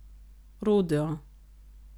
Rodeo.